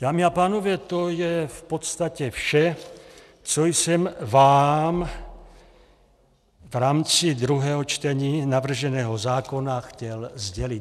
Dámy a pánové, to je v podstatě vše, co jsem vám v rámci druhého čtení navrženého zákona chtěl sdělit.